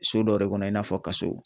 So dɔ de kɔnɔ i n'a fɔ kaso